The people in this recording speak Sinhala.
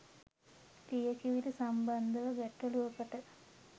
ලියකියවිලි සම්බන්ධව ගැටලුවකට